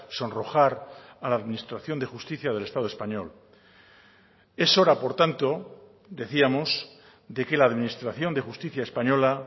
sonrojar a la administración de justicia del estado español es hora por tanto decíamos de que la administración de justicia española